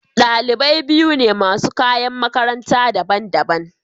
Dalibai biyu ne masu kayan makaranta daban-daban.